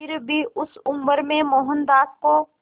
फिर भी उस उम्र में मोहनदास को